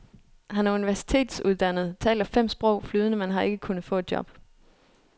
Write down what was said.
Han er universitetsuddannet, taler fem sprog flydende men har ikke kunnet få et job.